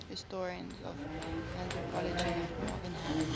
historians of anthropology like marvin harris